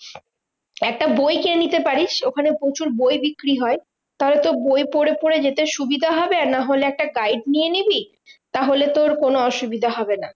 একটা বই কিনে পারিস, ওখানে প্রচুর বই বিক্রি হয়। তাহলে তোর বই পরে পরে যেতে সুবিধা হবে। আর নাহলে একটা guide নিয়ে নিবি। তাহলে তোর কোনো অসুবিধা হবে না।